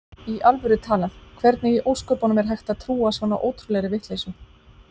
Í alvöru talað: Hvernig í ósköpunum er hægt að trúa svona ótrúlegri vitleysu?